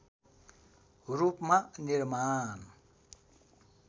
रूपमा निर्माण